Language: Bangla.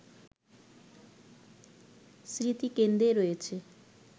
স্মৃতিকেন্দ্রে রয়েছে